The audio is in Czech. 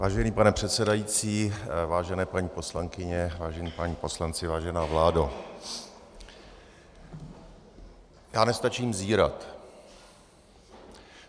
Vážený pane předsedající, vážené paní poslankyně, vážení páni poslanci, vážená vládo, já nestačím zírat.